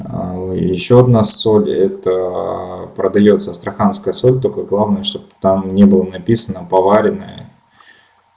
а ещё одна соль это продаётся астраханская соль только главное чтобы там не было написано поваренная